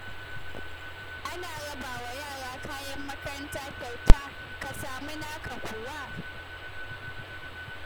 Ana rabawa yara kayan makaranta kyauta, ka samu naka kuwa?